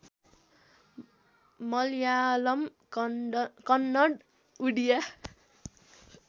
Malayalam Kannada Odia